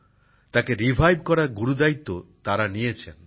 তাকে পুনরুজ্জীবিত করার গুরুদায়িত্ব তারা নিয়েছেন